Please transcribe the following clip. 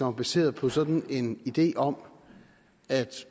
er baseret på sådan en idé om at